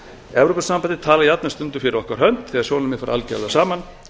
evrópusambandið talar jafnvel stundum fyrir okkar hönd þegar sjónarmið fara algjörlega saman